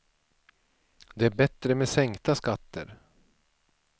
Det är bättre med sänkta skatter.